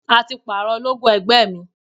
A ti parọ logo ẹgbẹ́ mi.